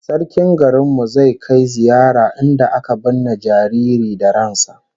Sarkin garin mu zai kai ziyara inda aka binne jariri da ran sa